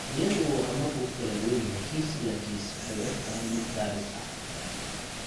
Iyadoo horumarku ku kala duwan yahay kiis ilaa kiis, waxay u egtahay mid gaabis ah.